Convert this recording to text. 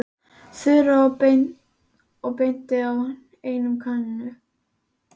Þura og benti á eina kanínuna.